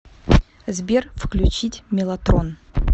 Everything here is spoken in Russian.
сбер включить меллотрон